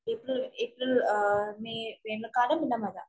കടമില്ല മഴ.